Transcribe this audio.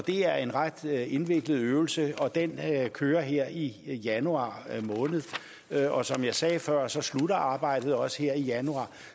er en ret indviklet øvelse den kører her i januar måned og som jeg sagde før slutter arbejdet også her i januar